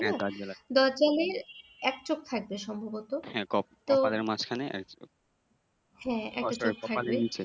আমাদের মাঝখানে